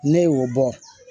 Ne y'o bɔ